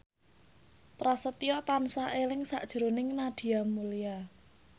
Prasetyo tansah eling sakjroning Nadia Mulya